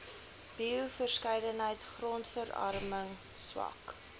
bioverskeidenheid grondverarming swak